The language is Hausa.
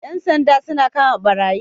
Yan sanja suna kama barayi